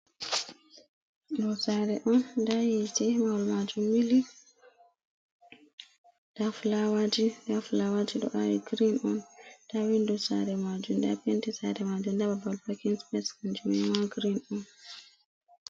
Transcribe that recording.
Do sare on dayite mawal majum mili, da flawaji do awi green on da windo sare majum da penti sare majum daba bal pakinspecs kanjummanma green on.